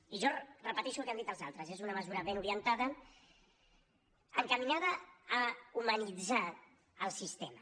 i jo repeteixo el que han dit els altres és una mesura ben orientada encaminada a humanitzar el sistema